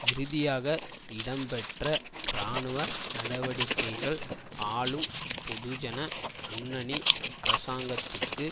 இறுதியாக இடம்பெற்ற இராணுவ நடவடிக்கைகள் ஆளும் பொதுஜன முன்னணி அரசாங்கத்துக்கு